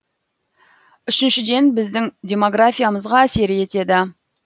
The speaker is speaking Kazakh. үшіншіден біздің демографиямызға әсер етеді